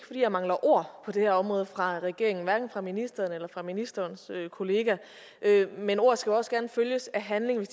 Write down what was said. fordi jeg mangler ord på det her område fra regeringens side hverken fra ministeren eller fra ministerens kollega men ord skulle også gerne følges af handling hvis